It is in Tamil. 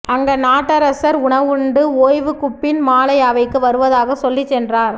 அங்கநாட்டரசர் உணவுண்டு ஓய்வுக்குப்பின் மாலை அவைக்கு வருவதாக சொல்லிச் சென்றார்